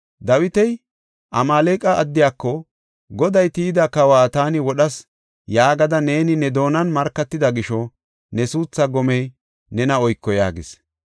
Dawiti Amaaleqa addiyako, “Goday tiyida kawa taani wodhas” yaagada “Neeni ne doonan markatida gisho ne suuthaa gomey nena oyko” yaagis.